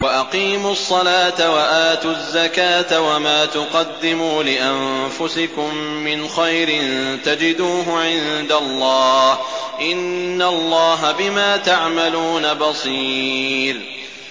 وَأَقِيمُوا الصَّلَاةَ وَآتُوا الزَّكَاةَ ۚ وَمَا تُقَدِّمُوا لِأَنفُسِكُم مِّنْ خَيْرٍ تَجِدُوهُ عِندَ اللَّهِ ۗ إِنَّ اللَّهَ بِمَا تَعْمَلُونَ بَصِيرٌ